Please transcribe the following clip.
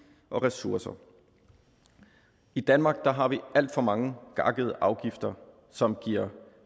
og ressourcer i danmark har vi alt for mange gakkede afgifter som giver